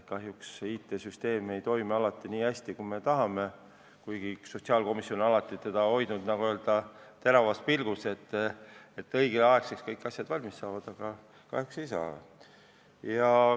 Kahjuks ei toimi IT-süsteem alati nii hästi, kui me tahaksime, kuigi sotsiaalkomisjon on alati hoidnud, nagu öeldakse, terava pilgu all seda, et kõik asjad õigel ajal valmis saaksid.